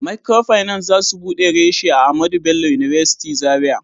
Microfinance za su bude reshi a Ahmadu Bello University zarai